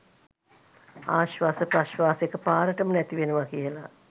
ආශ්වාස ප්‍රශ්වාස එකපාරටම නැතිවෙනවා කියල.